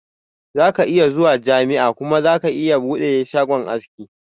Zaka iya zuwa jami'a kuma ka bude shagon aski